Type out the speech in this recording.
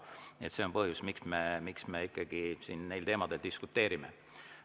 Nii et see on põhjus, miks me ikkagi siin neil teemadel diskuteerime.